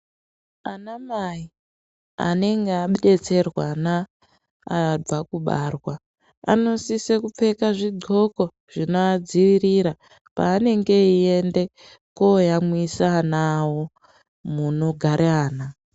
Ana mai anenge abetserwana ana abva kubarwa. Anosise kupfeka zvidhloko zvinoadzivirira panenge eiende koyamwisa ana avo munogare ana.